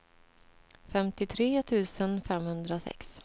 femtiotre tusen femhundrasex